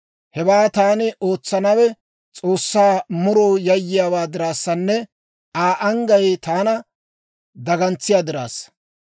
Hewaa taani ootsennawe S'oossaa muroo yayyiyaa dirassanne Aa anggay taana dagantsiyaa dirassa.